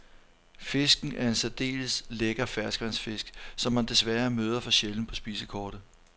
Fisken er en særdeles lækker ferskvandsfisk, som man desværre møder for sjældent på spisekortet.